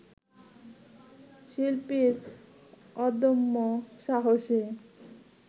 শিল্পীর অদম্য সাহসে